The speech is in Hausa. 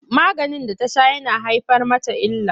Maganin da ta sha yana haifar mata illa.